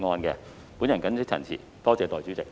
我謹此陳辭，多謝代理主席。